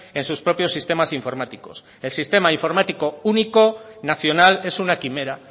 en sus propios sistemas informáticos el sistema informático único nacional es una quimera